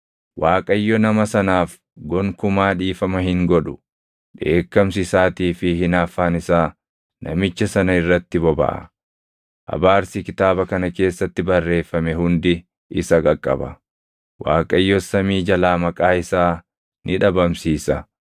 Waaqayyo nama sanaaf gonkumaa dhiifama hin godhu; dheekkamsi isaatii fi hinaaffaan isaa namicha sana irratti bobaʼa. Abaarsi kitaaba kana keessatti barreeffame hundi isa qaqqaba; Waaqayyos samii jalaa maqaa isaa ni dhabamsiisa.